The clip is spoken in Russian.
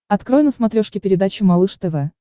открой на смотрешке передачу малыш тв